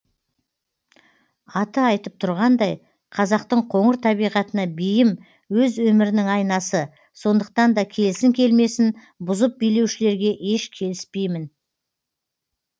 аты айтып тұрғандай қазақтың қоңыр табиғатына бейім өз өмірінің айнасы сондықтан да келсін келмесін бұзып билеушілерге еш келіспеймін